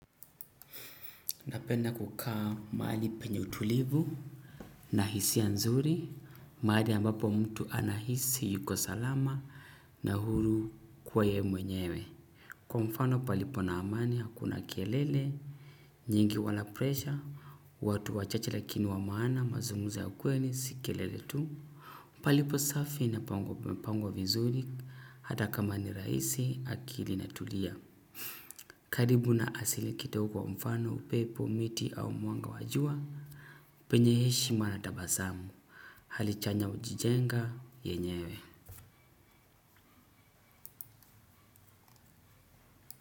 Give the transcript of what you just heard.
Napenda kukaa mahali penye utulivu na hisia nzuri, mahali ambapo mtu anahisi yuko salama na huru kwa yeye mwenyewe. Kwa mfano, palipo na amani, hakuna kelele nyingi wala presha, watu wachache lakini wa maana, mazungumzo ya kweli, si kelele tu. Palipo safi na pamepangwa vizuri, hata kama ni rahisi, akili inatulia. Karibu na asiku kidogo, mfano, upepo, miti au mwanga wa jua, penye heshima na tabasamu. Halichanya ujijenga, yenyewe.